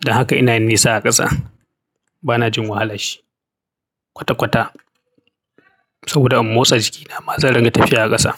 don haka ina nisa a ƙasa. Bana jin wahala shi kwata-kwata saboda in motsa jikina ma zan ringa tafiya a ƙasa.